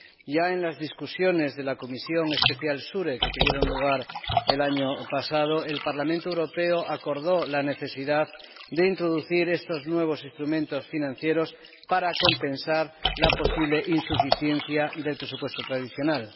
Ya en las discusiones de la Comisión Especial SURE que tuvieron lugar el año pasado, el Parlamento Europeo acordó la necesidad de introducir estos nuevos instrumentos financieros para compensar la posible insuficiencia del presupuesto tradicional.